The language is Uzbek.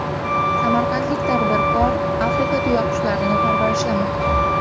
Samarqandlik tadbirkor Afrika tuyaqushlarini parvarishlamoqda.